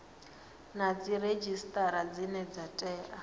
na dziredzhisitara dzine dza tea